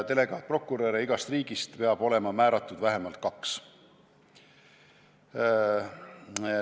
Delegaatprokuröre peab igast riigist olema määratud vähemalt kaks.